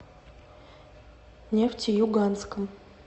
нефтеюганском